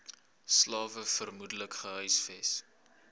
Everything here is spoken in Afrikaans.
slawe vermoedelik gehuisves